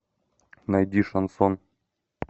найди шансон